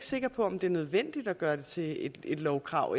sikker på at det er nødvendigt at gøre det til et lovkrav